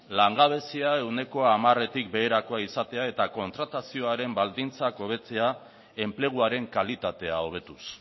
langabezia ehuneko hamaretik beherakoa izatea eta kontratazioaren baldintzak hobetzea enpleguaren kalitatea hobetuz